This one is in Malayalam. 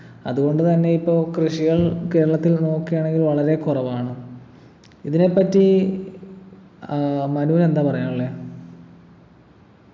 അതുകൊണ്ടു തന്നെ ഇപ്പൊ കൃഷികൾ കേരളത്തിൽ നോക്കയാണെങ്കിൽ വളരെ കുറവാണ് ഇതിനെപ്പറ്റി ആഹ് മനുവിനെന്താ പറയാനുള്ളേ